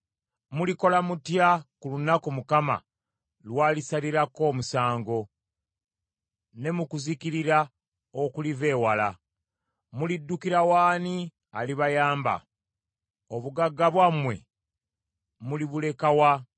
Mulikola mutya ku lunaku Mukama lwalisalirako omusango ne mu kuzikirira okuliva ewala? Muliddukira w’ani alibayamba? Obugagga bwammwe mulibuleka wa?